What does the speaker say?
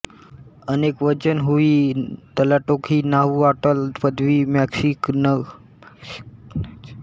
अनेकवचन हुयी ट्लाटोक ही नाहुआट्ल पदवी मेक्सिकनांच्या अस्तेक सम्राटांकरिता वापरली जाते